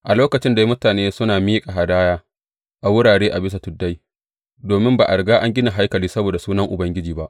A lokacin dai mutane suna miƙa hadaya a wurare a bisa tuddai, domin ba a riga an gina haikali saboda Sunan Ubangiji ba.